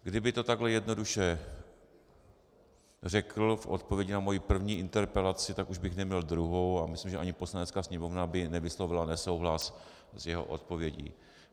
Kdyby to takhle jednoduše řekl v odpovědi na moji první interpelaci, tak už bych neměl druhou a myslím, že ani Poslanecká sněmovna by nevyslovila nesouhlas s jeho odpovědí.